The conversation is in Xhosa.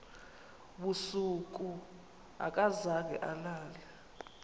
busuku akazange alale